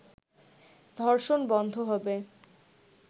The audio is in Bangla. ধর্ষণ বন্ধ হবে